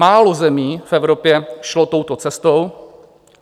Málo zemí v Evropě šlo touto cestou.